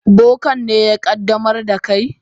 Bokan ne ya qaddamar da kai?